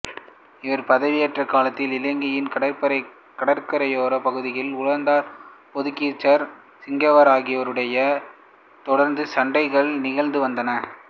இவர் பதவியேற்ற காலத்தில் இலங்கையின் கரையோரப் பகுதிகளில் ஒல்லாந்தர் போத்துக்கீசர் சிங்களவர் ஆகியோரிடையே தொடர்ந்த சண்டைகள் நிகழ்ந்து வந்தன